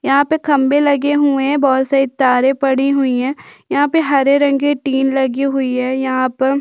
यहाँ पे खंभे लगे हुए हैं बोहत सारी तारे पड़ी हुई हैं यहाँ पे हरे रंग के टीन लगे हुई हैं यहाँ पर--